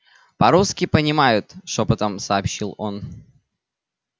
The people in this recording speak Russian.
по русски понимают шёпотом сообщил он